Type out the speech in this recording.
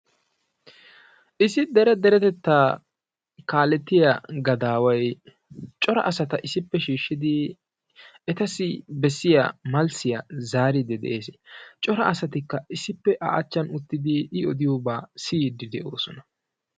Issi dere deretettaa kaallettiyaa gadaway cora asata issippe shiishidi etassi beesiyaa malissiyaa zaaridi de'ees. Cora asatikka issippe a achchan uttidi i odiyoobaa siyiidi de'oosona.